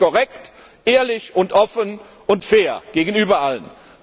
Ich finde das korrekt, ehrlich, offen und fair gegenüber allen!